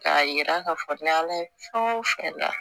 K'a yira k'a fɔ ni ala ye fɛn o fɛn da